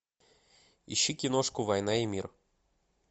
ищи киношку война и мир